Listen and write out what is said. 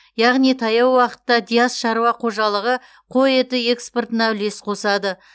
яғни таяу уақытта диас шаруа қожалығы қой еті экспортына үлес қосады